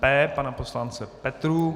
P pana poslance Petrů.